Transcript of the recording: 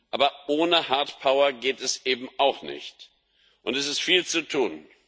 Aber ohne Hardpower geht es eben auch nicht. Es ist viel zu tun.